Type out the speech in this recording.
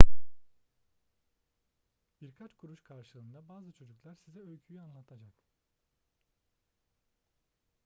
birkaç kuruş karşılığında bazı çocuklar size öyküyü anlatacak